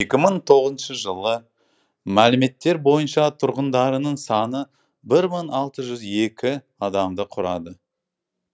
екі мың тоғызыншы жылғы мәліметтер бойынша тұрғындарының саны бір мың алты жүз екі адамды құрады